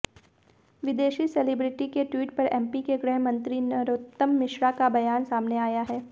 विदेशी सेलिब्रिटी के ट्वीट पर एमपी के गृहमंत्री नरोत्तम मिश्रा का बयान सामने आया है